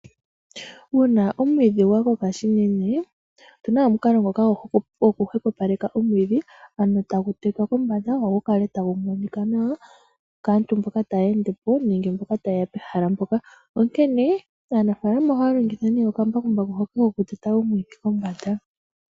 Uuna omwiidhi gwa koka unene opuna omukalo ngoka gwoku hwepopaleke omwiidhi ano tagu tetwa kombanda gwo gukale tagu monika nawa kaantu mboka taya endepo nenge tayeya pehala mpoka . Aanafaalama ohaya longitha nee omambakumbaku hoka koku teta omwiidhi kombanda .